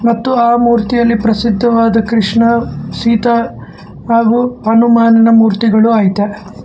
ಮತ್ತು ಆ ಮೂರ್ತಿಯಲ್ಲಿ ಪ್ರಸಿದ್ಧವಾದ ಕೃಷ್ಣ ಸೀತಾ ಹಾಗು ಹನುಮಾನಿನ ಮೂರ್ತಿಗುಳು ಐತೆ.